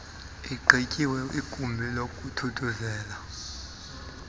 igqityiwe igumbi lokuthuthuzela